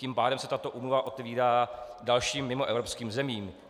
Tím pádem se tato úmluva otevírá dalším mimoevropským zemím.